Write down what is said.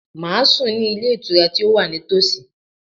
Màá sùn ní Ilé Ìtura tí ó wà ní tòsí